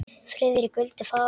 Friðrik vildi fara.